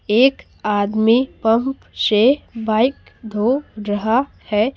एक आदमी पब से बाइक धो रहा है।